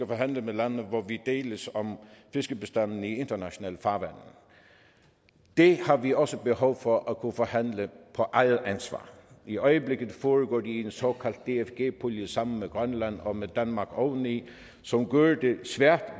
forhandle med lande hvor vi deles om fiskebestanden i internationale farvande det har vi også behov for at kunne forhandle på eget ansvar i øjeblikket foregår det i en såkaldt dfg pulje sammen med grønland og danmark oveni som gør det svært